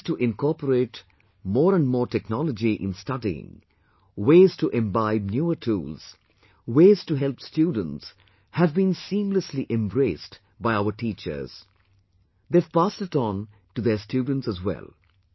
Ways to incorporate more and more technology in studying, ways to imbibe newer tools, ways to help students have been seamlessly embraced by our teachers... they have passed it on to their students as well